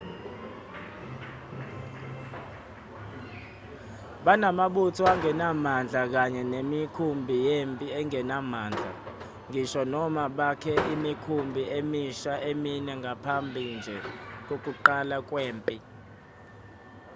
banamabutho angenamandla kanye nemikhumbi yempi engenamandla ngisho noma bakhe imikhumbi emisha emine ngaphambi nje kokuqala kwempi